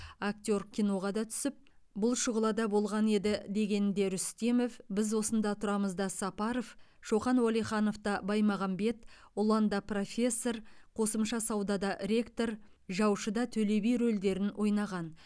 актер киноға да түсіп бұл шұғылада болған еді дегенінде рүстемов біз осында тұрамыз да сапаров шоқан уәлиханов та баймағанбет ұлан да профессор қосымша сауда да ректор жаушы да төле би рөлдерін ойнаған